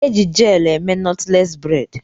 E Ji jelu eme nọtles bredi